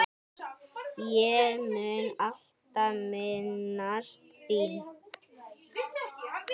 Ég mun alltaf minnast þín.